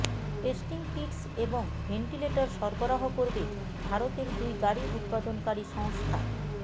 testing kits এবং ventilator সরবরাহ করবে ভারতের দুই গাড়ি উৎপাদনকারী সংস্থা